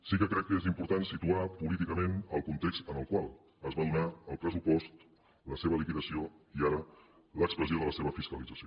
sí que crec que és important situar políticament el context en el qual es va donar el pressupost la seva liquidació i ara l’expressió de la seva fiscalització